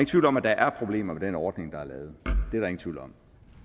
tvivl om at der er problemer ved den ordning der er lavet